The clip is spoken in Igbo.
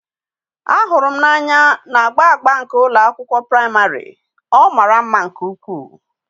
a hụrụ m n'anya na agba agba nke ụlọ akwụkwọ praịmarị, ọ mara mma nke ukwuu.